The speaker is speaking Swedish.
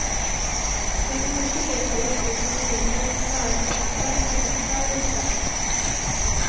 Det är för mycket lek och yttre krusiduller som snarare försämrar än förbättrar ljuskällan.